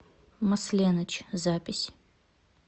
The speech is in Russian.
масленыч запись